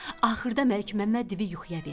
Axırda Məlikməmməd divi yuxuya verdi.